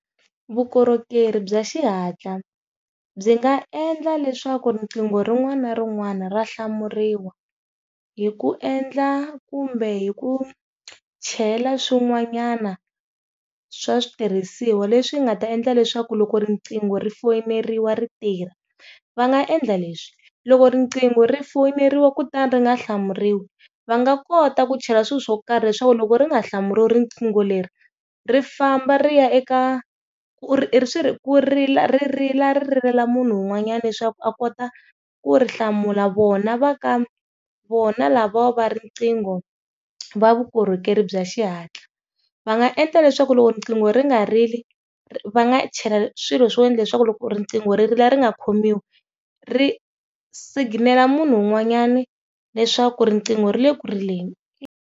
Vukorhokeri bya xihatla byi nga endla leswaku riqingho rin'wana na rin'wana ra hlamuriwa, hi ku endla kumbe hi ku chela swin'wanyana swa switirhisiwa leswi nga ta endla leswaku loko rinqingo ri foyineriwa ri tirha. Va nga endla leswi, loko riqingho ri foyineriwa ku ta ri nga hlamuriwa va nga kota ku chela swilo swo karhi leswaku loko ri nga hlamuriwa riqingho leri ri famba ri ya eka swi ri ri rila ri rilela munhu un'wanyana leswaku a kota ku ri hlamula, vona va ka vona lavo va riqingho va vukorhokeri bya xihatla va nga endla leswaku loko riqingho ri nga rili va nga chela swilo swa wena leswaku loko riqingho ri ri leri nga khomiwi ri siginela munhu un'wanyani leswaku riqingho ri le ku rileni.